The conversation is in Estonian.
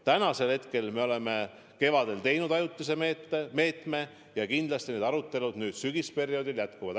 Tänavu me käivitasime kevadel ajutise meetme ja kindlasti need arutelud nüüd sügisperioodil jätkuvad.